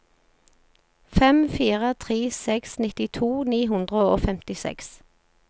fem fire tre seks nittito ni hundre og femtiseks